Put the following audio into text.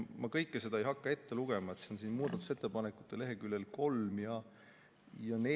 Ma kõike ei hakka ette lugema, aga see on muudatusettepanekute lehekülgedel 3 ja 4, kui te vaatate.